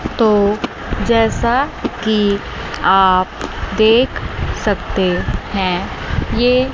तो जैसा कि आप देख सकते हैं यह--